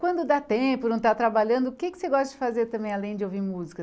Quando dá tempo, não está trabalhando, o que que você gosta de fazer também além de ouvir música?